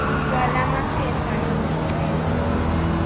kwala maphepha ezicelo